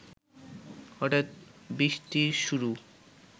হঠাৎ বৃষ্টির শুরু